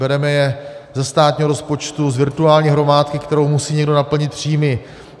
Bereme je ze státního rozpočtu, z virtuální hromádky, kterou musí někdo naplnit příjmy.